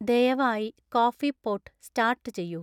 ദയവായി coffee pot start ചെയ്യൂ